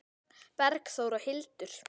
Bergþór og Hildur.